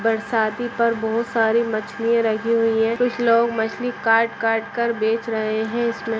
बरसाती पर बहुत सरे मछलिया लगी हुए है कुछ लोग मछलिया काट काट कर बेच रहे है इस में।